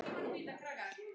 spurði Solla.